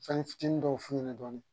Fɛnnin fitinin dɔw f'u ɲɛna dɔɔnin